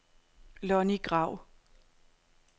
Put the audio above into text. Lonnie Grau